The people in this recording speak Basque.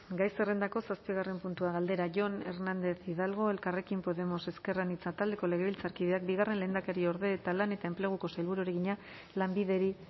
gai zerrendako zazpigarren puntua galdera jon hernández hidalgo elkarrekin podemos ezker anitza taldeko legebiltzarkideak bigarren lehendakariorde eta lan eta enpleguko sailburuari egina lanbideri